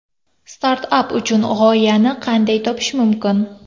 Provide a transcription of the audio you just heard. Startap uchun g‘oyani qanday topish mumkin?